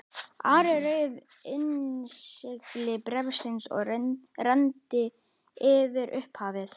Ari rauf innsigli bréfsins og renndi yfir upphafið.